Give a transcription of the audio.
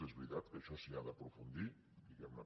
és veritat que en això s’hi ha d’aprofundir diguemne